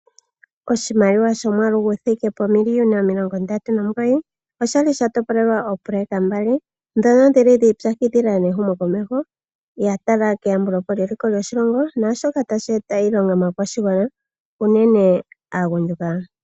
Oshimaliwa shomwaalu guthike pomiliyona omilongo ndatu nomugoyi, oshali sha topolelwa oopoloyeka mbali dhono dhili dhi ipyakidhila nehumo komeho, ya tala keyambulepo lye liko lyoshilongo nashoka tashi eta iilonga maakwashigwana, unene aagundjuka.